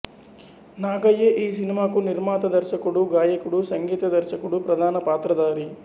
నాగయ్యే ఈ సినిమాకు నిర్మాత దర్శకుడు గాయకుడు సంగీత దర్శకుడు ప్రధాన పాత్రధారి